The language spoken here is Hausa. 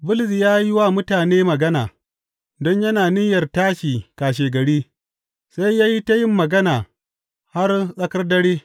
Bulus ya yi wa mutane magana, don yana niyyar tashi kashegari, sai ya yi ta yin magana har tsakar dare.